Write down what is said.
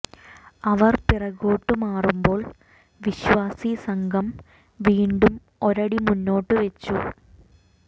അവർ പിറകോട്ട് മാറുമ്പോൾ വിശ്വാസി സംഘം വീണ്ടും ഒരടി മുന്നോട്ട് വെച്ചു